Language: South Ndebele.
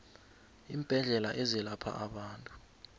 iimbedlela ezelapha abantu